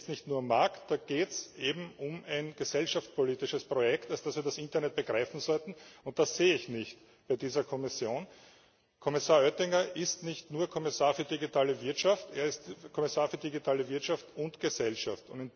Da geht es nicht nur um Markt, da geht es eben um ein gesellschaftspolitisches Projekt, als das wir das Internet begreifen sollten, und das sehe ich nicht bei dieser Kommission. Kommissar Oettinger ist nicht nur Kommissar für digitale Wirtschaft, er ist Kommissar für digitale Wirtschaft und Gesellschaft.